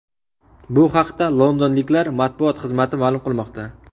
Bu haqda londonliklar matbuot xizmati ma’lum qilmoqda .